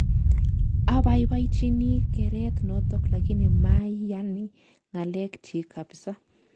Abaibachini kereet notok lakini mayani ng'alek chiik kapsaa